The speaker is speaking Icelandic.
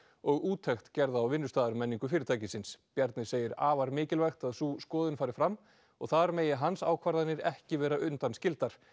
og úttekt gerð á fyrirtækisins Bjarni segir afar mikilvægt að sú skoðun fari fram og þar megi hans ákvarðanir ekki vera undanskildar